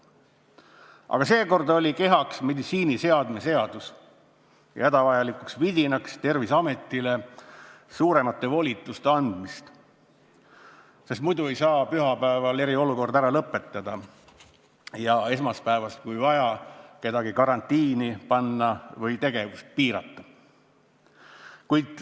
Aga seekord oli kehaks meditsiiniseadme seadus ja hädavajalikuks vidinaks Terviseametile suuremate volituste andmine, sest muidu ei saa pühapäeval eriolukorda ära lõpetada ja esmaspäevast, kui vaja, kedagi karantiini panna või kellegi tegevust piirata.